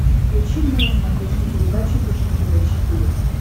включи мне на смотрешке передачу фэшен тв четыре к